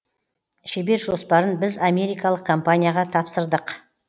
шебер жоспарын біз америкалық компанияға тапсырдық